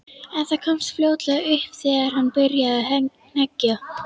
En það komst fljótlega upp þegar hann byrjaði að hneggja.